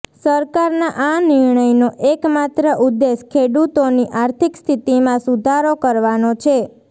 સરકારના આ નિર્ણયનો એકમાત્ર ઉદ્દેશ ખેડૂતોની આર્થિક સ્થિતિમાં સુધારો કરવાનો છે